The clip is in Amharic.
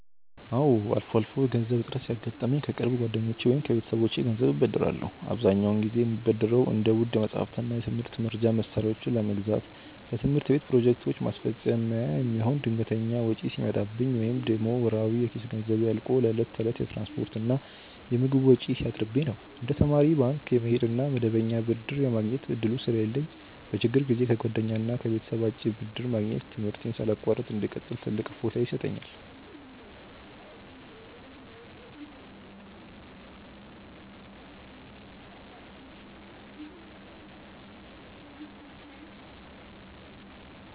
አዎ፣ አልፎ አልፎ የገንዘብ እጥረት ሲያጋጥመኝ ከቅርብ ጓደኞቼ ወይም ከቤተሰቦቼ ገንዘብ እበደራለሁ። አብዛኛውን ጊዜ የምበደረው እንደ ውድ መጻሕፍትና የትምህርት መርጃ መሣሪያዎችን ለመግዛት፣ ለትምህርት ቤት ፕሮጀክቶች ማስፈጸሚያ የሚሆን ድንገተኛ ወጪ ሲመጣብኝ፣ ወይም ደግሞ ወርሃዊ የኪስ ገንዘቤ አልቆ ለዕለት ተዕለት የትራንስፖርትና የምግብ ወጪ ሲያጥርብኝ ነው። እንደ ተማሪ ባንክ የመሄድ ወይም መደበኛ ብድር የማግኘት ዕድሉ ስለሌለኝ፣ በችግር ጊዜ ከጓደኛና ከቤተሰብ አጭር ብድር ማግኘት ትምህርቴን ሳላቋርጥ እንድቀጥል ትልቅ እፎይታ ይሰጠኛል።